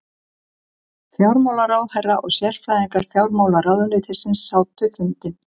Fjármálaráðherra og sérfræðingar fjármálaráðuneytisins sátu fundinn